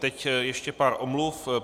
Teď ještě pár omluv.